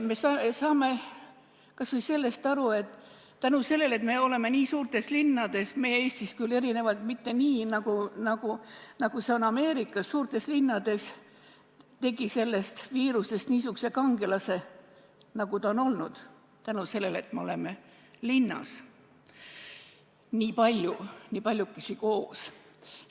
Me saame kas või aru, et seetõttu, et me elame nii suurtes linnades , saigi sellest viirusest niisugune kangelane, nagu ta on olnud, seda seetõttu, et meid on linnas nii palju koos.